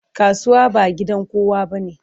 Kasuwa ba gidan kowa bane.